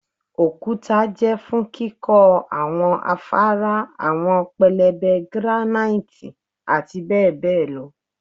okuta jẹ fun kikọ awọn afara, awọn pẹlẹbẹ granite ati bẹbẹ lọ